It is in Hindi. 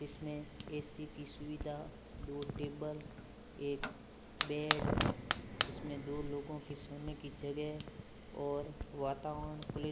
इसमें एसी की सुविधा दो टेबल एक बेड जिसमें दो लोगों की सोने की गजह और वातावरण कुली --